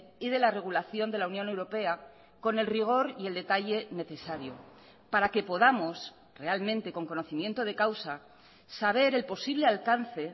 y de la regulación de la unión europea con el rigor y el detalle necesario para que podamos realmente con conocimiento de causa saber el posible alcance